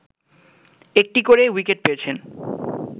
একটি করে উইকেট পেয়েছেন